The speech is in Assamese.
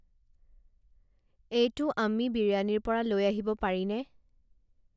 এইটো আম্মি বিৰিয়ানীৰ পৰা লৈ আহিব পাৰিনে